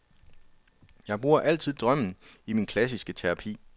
Jeg bruger altid drømme i min klassiske terapi.